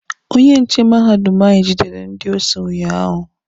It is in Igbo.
Onye nche mahadum anyị gidere ndị osi unyaahụ.